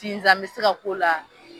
Sinzan be se ka k'o la